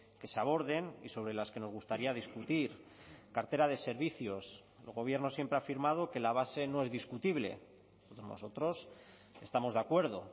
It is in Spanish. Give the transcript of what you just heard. que se aborden y sobre las que nos gustaría discutir cartera de servicios el gobierno siempre ha afirmado que la base no es discutible nosotros estamos de acuerdo